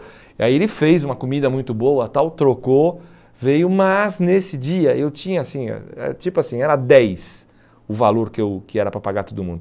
Aí ele fez uma comida muito boa, tal, trocou, veio, mas nesse dia eu tinha assim, eh tipo assim, era dez o valor que eu que era para pagar todo mundo.